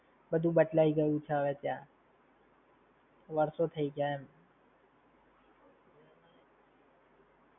બધું બદલાઈ ગયું છે હવે ત્યાં. વર્ષો થઇ ગયા એમ.